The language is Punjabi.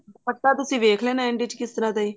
ਦੁਪੱਟਾ ਤੁਸੀਂ ਦੇਖ ਲੈਣਾ end ਵਿੱਚ ਕੀ ਤਰ੍ਹਾਂ ਦਾ ਹੈ